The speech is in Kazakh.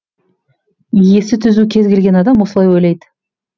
есі түзу кез келген адам осылай ойлайды